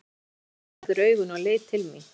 Við það opnaði Sigvarður augun og leit til mín.